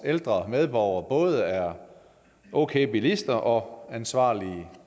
ældre medborgere både er okay bilister og ansvarlige